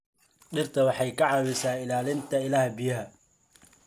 Dhirtu waxay ka caawisaa ilaalinta ilaha biyaha.